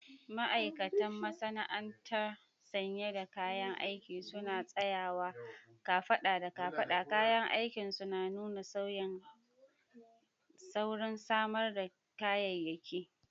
Ma'aikatan masana'anta sanye da kayan aiki suna tsayawa kafada da kafada, kayan aikinsu na nuna saurin samar da kayayyaki